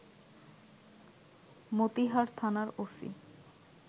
মতিহার থানার ওসি